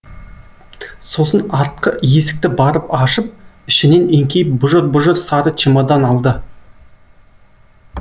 сосын артқы есікті барып ашып ішінен еңкейіп бұжыр бұжыр сары чемодан алды